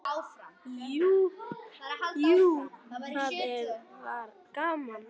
Jú, jú, það var gaman.